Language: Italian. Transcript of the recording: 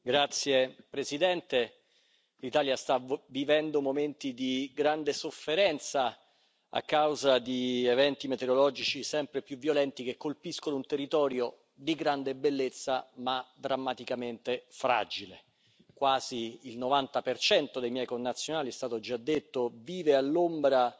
Signora Presidente, onorevoli colleghi, l'Italia sta vivendo momenti di grande sofferenza a causa di eventi meteorologici sempre più violenti, che colpiscono un territorio di grande bellezza ma drammaticamente fragile. Quasi il 90 dei miei connazionali, è stato già detto, vive all'ombra